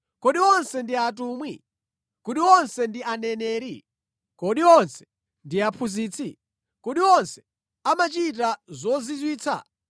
Kodi onse ndi atumwi? Kodi onse ndi aneneri? Kodi onse ndi aphunzitsi? Kodi onse amachita zozizwitsa?